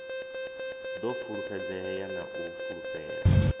ḓo fulufhedzea na u fulufhela